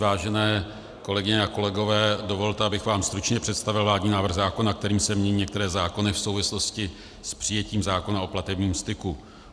Vážené kolegyně a kolegové, dovolte, abych vám stručně představil vládní návrh zákona, kterým se mění některé zákony v souvislosti s přijetím zákona o platebním styku.